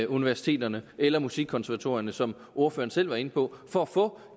universiteterne eller musikkonservatorierne som ordføreren selv var inde på for at få